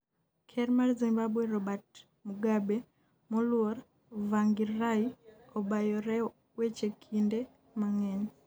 Ker mar Zimbabwe Robert Mugabe moluor Tsvangirai obayore weche kinde mang'eny